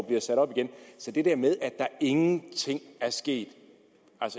bliver sat op igen så det der med at der ingenting er sket